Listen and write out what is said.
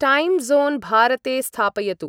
Time zone भारते स्थापयतु ।